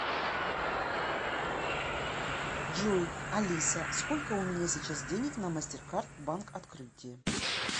джой алиса сколько у меня сейчас денег на мастеркард банк открытие